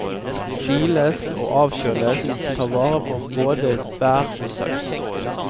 Siles og avkjøles, ta vare på både bær og saus.